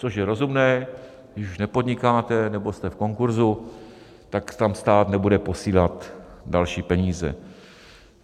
Což je rozumné: když už nepodnikáte nebo jste v konkurzu, tak tam stát nebude posílat další peníze.